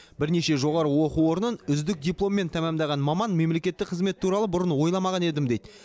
бірнеше жоғары оқу орнын үздік дипломмен тәмамдаған маман мемлекеттік қызмет туралы бұрын ойламаған едім дейді